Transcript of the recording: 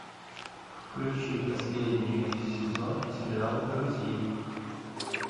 включи последний сезон сериала друзей